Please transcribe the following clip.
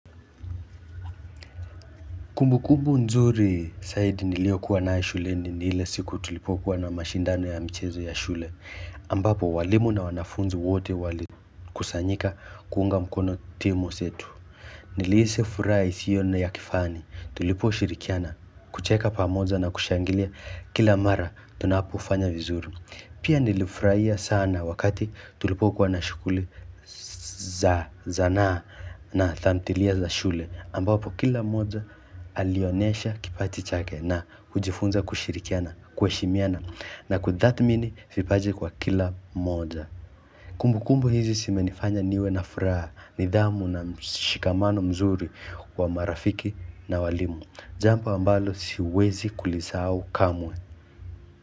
Kumbu kumbu nzuri saidi nilio kuwa nayo shule ni hile siku tulipo kuwa na mashindano ya mchezo ya shule. Ambapo walimu na wanafunzi wote wali kusanyika kuunga mkono timo setu. Nilihisi furuha isiyo na ya kifani tuliposhirikiana kucheka pamoja na kushangilia kila mara tunapofanya vizuri. Pia nilifurahia sana wakati tulipokuwa na shughuli za zanaa na tamthilia za shule ambapo kila mmoja alionyesha kipaji chake na kujifunza kushirikiana kuheshimiana na kutathmini vipaje kwa kila mmoja. Kumbukumbu hizi zimenifanya niwe na furaha, nidhamu na mshikamano mzuri wa marafiki na walimu. Jambo ambalo siwezi kulisahau kamwe.